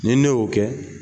Ni ne y'o kɛ